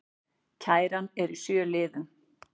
Kæran er í sjö liðum